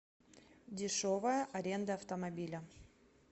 дешевая аренда автомобиля